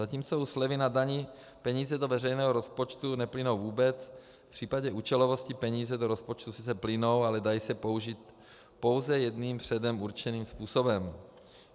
Zatímco u slevy na dani peníze do veřejného rozpočtu neplynou vůbec, v případě účelovosti peníze do rozpočtu sice plynou, ale dají se použít pouze jedním předem určeným způsobem.